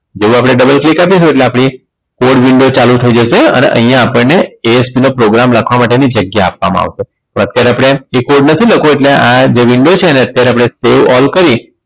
જેવું આપણે double click આપીશું છે એટલે આપણી for window ચાલુ થઈ જશે અને અહીંયા આપણને ASP નો programme લખવા માટેની જગ્યા આપવામાં આવશે તો અત્યારે આપણે એ coad નથી લખવો એટલે આ જે window છે એને અત્યારે આપણે see all કરી